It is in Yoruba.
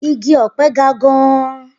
Igi ọ̀pẹ ga gan-an.